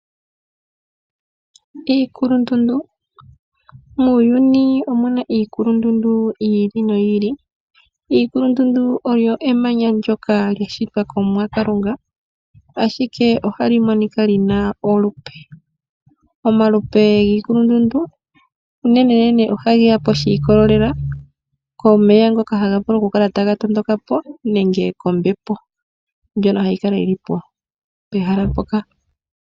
Iikulundundu muuyuni omuna iikulundundu yi ili noyi ili , iikulundundu olyo emanya ndola lyashitwa komuwa kalunga, ashike ohali monika lina olupe . Omalupe giikulundundu unenenene oha geya po shikolelela komeya ngoka haga vulu kukala taga tondokapo nenge kombepo ndyoka hayi kala yili po pehala mpoka.